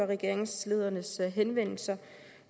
regeringslederens henvendelser